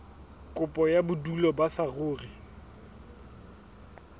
kopo ya bodulo ba saruri